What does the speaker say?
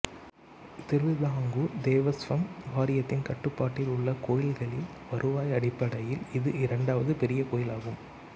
திருவிதாங்கூர் தேவஸ்வம் வாரியத்தின் கட்டுப்பாட்டில் உள்ள கோயில்களில் வருவாய் அடிப்படையில் இது இரண்டாவது பெரிய கோயிலாகும்